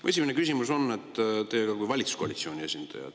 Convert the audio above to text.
Mu esimene küsimus on teile kui valitsuskoalitsiooni esindajale.